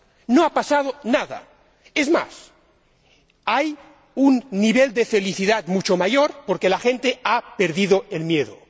No ha pasado nada es más, hay un nivel de felicidad mucho mayor porque la gente ha perdido el miedo.